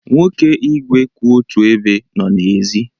Nwoke igwe kwụ otu ebe nọ n'èzí.